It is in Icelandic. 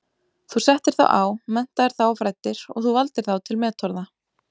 Þú settir þá á, menntaðir þá og fræddir og þú valdir þá til metorða.